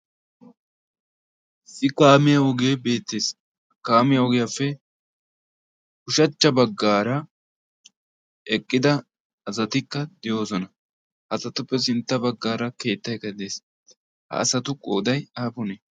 issi kaamiya ogee beettees. kaamiya ogiyaappe kushachcha baggaara eqqida asatikka de'oosona. azatuppe sintta baggaara keettai keddees ha asatu qooday aapunee?